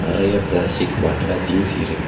நிறைய பிளாஸ்டிக் பாட்டில்ல திங்ஸ் இருக்--